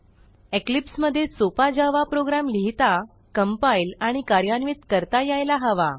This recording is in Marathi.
इक्लिप्स मधे सोपा जावा प्रोग्रॅम लिहिता कम्पाईल आणि कार्यान्वित करता यायला हवा